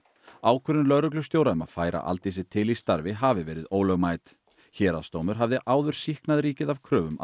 ákvörðun lögreglustjóra um að færa Aldísi til í starfi hafi verið ólögmæt héraðsdómur hafði áður sýknað ríkið af kröfum